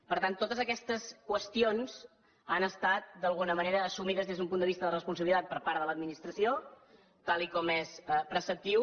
per tant totes aquestes qüestions han estat d’alguna manera assumides des d’un punt de vista de responsabilitat per part de l’administració tal com és preceptiu